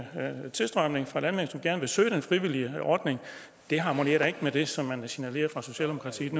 tilstrømning fra landmænd som gerne vil søge den frivillige ordning det harmonerer da ikke med det som man signalerer fra socialdemokratiets